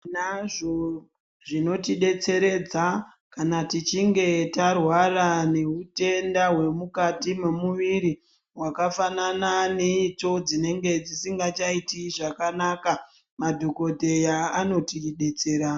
Tinazvo zvinotidetseredza kana tichinge tarwara neutenda hwemukati mwemuviri hwakafanana neitsvo dzinenge dzisingachaiti zvakanaka madhokodheya anotidetsera.